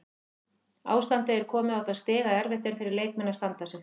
Ástandið er komið á það stig að erfitt er fyrir leikmenn að standa sig.